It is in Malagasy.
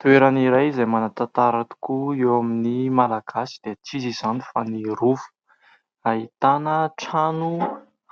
Toerana iray izay manan-tantara tokoa eo amin'ny Malagasy dia tsy iza izany fa ny rova. Ahitana trano